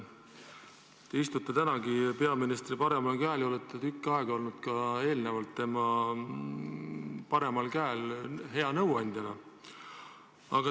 Te istute tänagi peaministri paremal käel ja olete tükk aega ennegi olnud tema paremal käel hea nõuandjana.